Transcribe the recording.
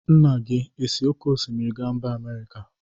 Nna gị esi oke osimiri gaa mba Amerika?